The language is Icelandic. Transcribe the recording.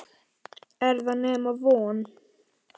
Er það nema von?